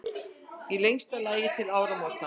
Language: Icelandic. Í lengsta lagi til áramóta.